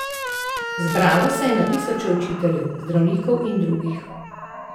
Zbralo se je na tisoče učiteljev, zdravnikov in drugih.